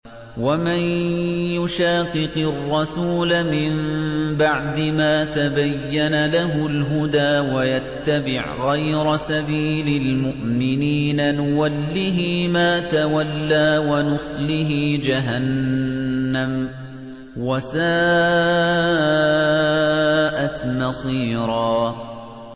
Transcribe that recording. وَمَن يُشَاقِقِ الرَّسُولَ مِن بَعْدِ مَا تَبَيَّنَ لَهُ الْهُدَىٰ وَيَتَّبِعْ غَيْرَ سَبِيلِ الْمُؤْمِنِينَ نُوَلِّهِ مَا تَوَلَّىٰ وَنُصْلِهِ جَهَنَّمَ ۖ وَسَاءَتْ مَصِيرًا